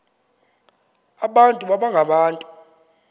abantu baba ngabantu